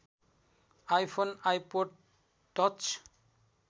iPhone iPod touch